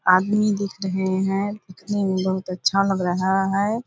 आदमी दिख रहे हैं दिखने में बहुत अच्छा लग रहा है।